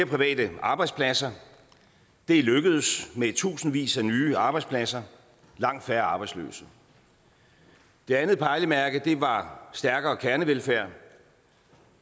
private arbejdspladser og det er lykkedes med tusindvis af nye arbejdspladser og langt færre arbejdsløse det andet pejlemærke var stærkere kernevelfærd